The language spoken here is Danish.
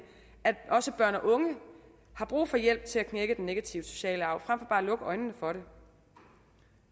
at også børn og unge har brug for hjælp til at knække den negative sociale arv frem for bare at lukke øjnene for det